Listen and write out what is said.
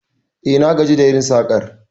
E, na gaji da yin sakar